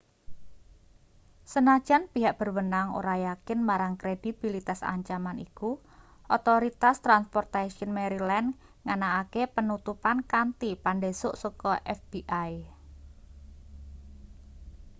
senajan pihak berwenang ora yakin marang kredibilitas ancaman iku otoritas transportaion maryland nganakake penutupan kanthi pandhesuk saka fbi